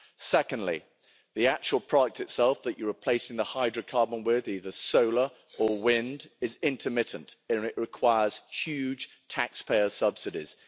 Secondly, the actual product itself that you're replacing the hydrocarbons with either solar or wind is intermittent and requires huge taxpayer subsidies.